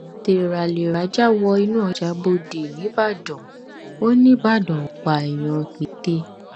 téraléra já wọ inú ọjà bọdẹ nìbàdàn ó nìbàdàn ó pààyàn pète